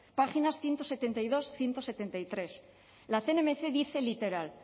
páginas ciento setenta y dos ehun eta hirurogeita hamairu la cnmc dice literal